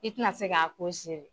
I ti na se k'a ko zele.